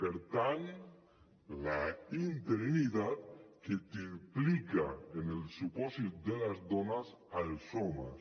per tant la interinitat que es triplica en el supòsit de les dones als homes